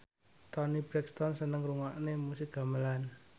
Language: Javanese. Toni Brexton seneng ngrungokne musik gamelan